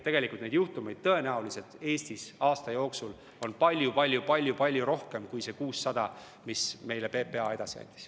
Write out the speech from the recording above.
Tegelikult on neid juhtumeid Eestis aasta jooksul olnud palju-palju-palju-palju rohkem kui need 600, mis meile PPA teada andis.